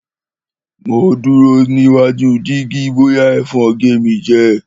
Mò duro nìwàjú jìgí bòyà èfon gẹ mi jẹ